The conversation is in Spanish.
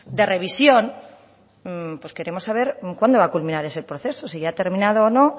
de revisión pues queremos saber cuándo va a culminar ese proceso si ya ha terminado o no